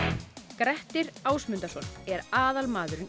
Grettir Ásmundarson er aðalmaðurinn